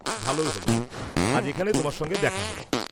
ভালো হল আজ এখানে তোমার সঙ্গে দেখা হল।